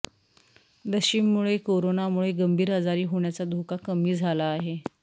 लशीमुळे करोनामुळे गंभीर आजारी होण्याचा धोका कमी झाला आहे